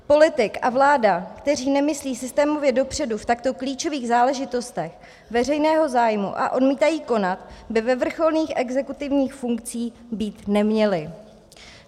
Politik a vláda, kteří nemyslí systémově dopředu v takto klíčových záležitostech veřejného zájmu a odmítají konat, by ve vrcholných exekutivních funkcích být neměli.